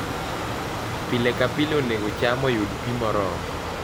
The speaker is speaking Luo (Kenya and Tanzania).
pile ka pile onego cham orud pi moromo